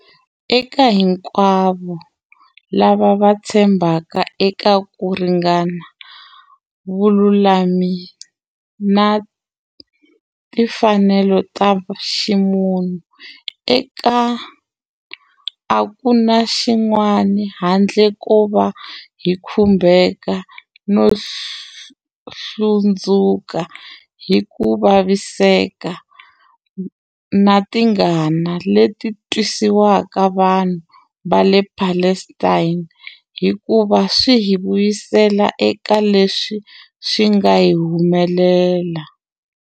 Eka hinkwavo lava va tshembaka eka ku ringana, vululami na timfanelo ta ximunhu, a ku na xin'wana handle ko va hi khumbeka no hlundzuka, hi ku vaviseka na tingana leti twisiwaka vanhu va le Palestina, hikuva swi hi vuyisela eka leswi swi nga hi humelela.